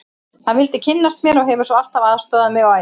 Hann vildi kynnast mér og hefur svo alltaf aðstoðað mig á æfingum.